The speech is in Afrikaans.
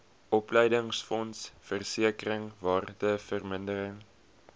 opleidingsfonds versekering waardevermindering